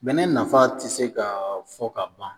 bɛnɛ nafa tɛ se ka fɔ ka ban